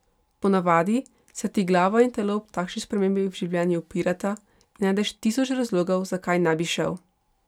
Ponavadi se ti glava in telo ob takšni spremembi v življenju upirata in najdeš tisoč razlogov, zakaj ne bi šel.